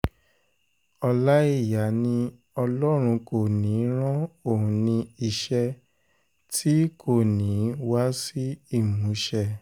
ọláìyà ni ọlọ́run kò ní í ran òun ní iṣẹ́ tí ì kò ní í wá sí ìmúṣẹ